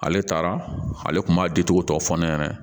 Ale taara ale kun b'a dicogo tɔ fɔ ne ɲɛna